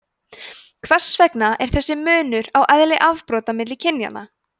hvers vegna er þessi munur á eðli afbrota milli kynjanna